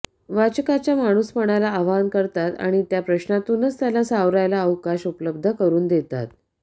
वाचकाच्या माणूसपणाला आवाहन करतात आणि त्या प्रश्नांतूनच त्याला सावरायला अवकाश उपलब्ध करून देतात